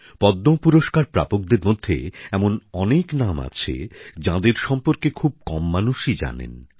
পদ্ম পুরস্কার প্রাপকদের মধ্যে এমন অনেক নাম আছে যাঁদের সম্পর্কে খুব কম মানুষই জানেন